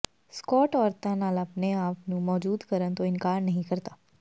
Scott ਔਰਤਾਂ ਨਾਲ ਆਪਣੇ ਆਪ ਨੂੰ ਮੌਜੁਦ ਕਰਨ ਤੋਂ ਇਨਕਾਰ ਨਹੀਂ ਕਰਦਾ